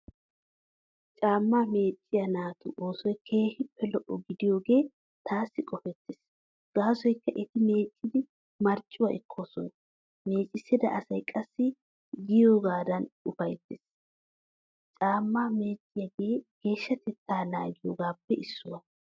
Caammaa meecciyaa naatu oosoy keehippe lo'o gidiyoogee taassi qopettees gaasoykka eti meeccidi marccuwaa ekkoosona, meecissida asay qassi geeyyidoigan ufayttees. Caammaa meecciyoogee geeshshatettaa naagiyoogaappe issuwaa.